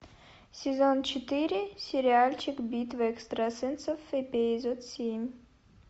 сезон четыре сериальчик битва экстрасенсов эпизод семь